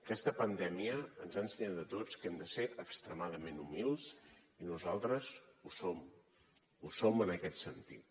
aquesta pandèmia ens ha ensenyat a tots que hem de ser extremadament humils i nosaltres ho som ho som en aquest sentit